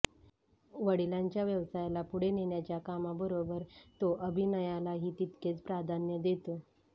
वडिलांच्या व्यवसायाला पुढे नेण्याच्या कामाबरोबर तो अभिनयलाही तितकेच प्राधान्य देतो